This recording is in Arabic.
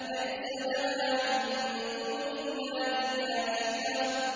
لَيْسَ لَهَا مِن دُونِ اللَّهِ كَاشِفَةٌ